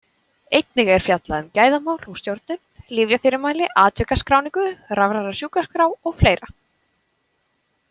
Einnig er fjallað um gæðamál og stjórnun, lyfjafyrirmæli, atvikaskráningu, rafræna sjúkraskrá og fleira.